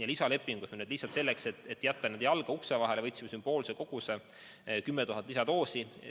Ja lisalepingusse, lihtsalt selleks, et jätta jalg ukse vahele, võtsime sümboolse koguse, 10 000 doosi.